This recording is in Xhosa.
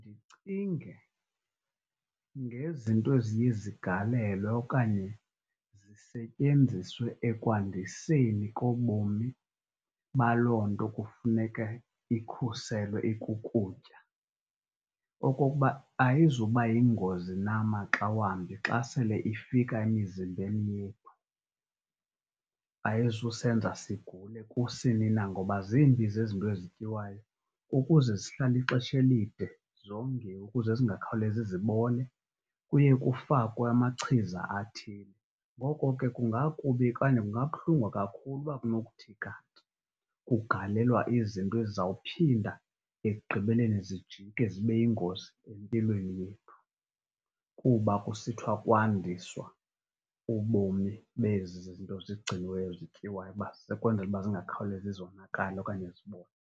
Ndicinge ngezinto eziye zigalelwe okanye zisetyenziswe ekwandiseni kobomi baloo nto kufuneke ikhuselwe ekukutya, okokuba ayizuba yingozi na maxa wambi xa sele ifika emizimbeni yethu, ayizusenza sigule kusini na. Ngoba zimbi zezinto ezityiwayo ukuze zihlale ixesha elide zongiwe ukuze zingakhawulezi zibole, kuye kufakwe amachiza athile. Ngoko ke, kungakubi okanye kungabuhlungu kakhulu ukuba kunothi kanti kugalelwa izinto ezizawuphinda ekugqibeleni zijike zibe yingozi empilweni yethu kuba kusithwa kwandiswa ubomi bezi zinto zigciniweyo zityiwayo, uba sekukwenzela uba zingakhawulezi zonakale okanye zibole